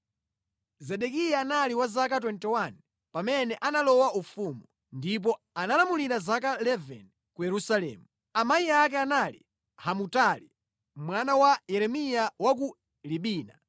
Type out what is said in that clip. Zedekiya anali wa zaka 21 pamene analowa ufumu, ndipo analamulira zaka 11 ku Yerusalemu. Amayi ake anali Hamutali mwana wa Yeremiya wa ku Libina.